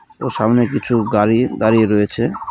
ও সামনে কিছু গাড়ির দাঁড়িয়ে রয়েছে .